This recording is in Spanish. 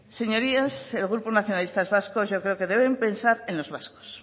señorías el grupo nacionalistas vascos yo creo que deben pensar en los vascos